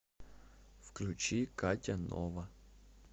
включи катя нова